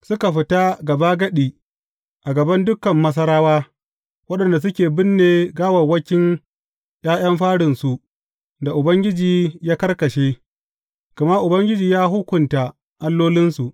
Suka fita gabagadi a gaban dukan Masarawa, waɗanda suke binne gawawwakin ’ya’yan farinsu da Ubangiji ya karkashe; gama Ubangiji ya hukunta allolinsu.